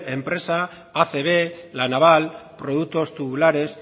enpresa acb la naval productos tubulares